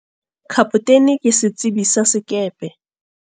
Kapotene ke setsebi sa sekepe.